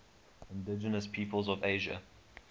indigenous peoples of asia